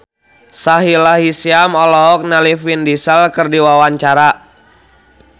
Sahila Hisyam olohok ningali Vin Diesel keur diwawancara